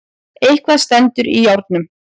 Eitthvað stendur í járnum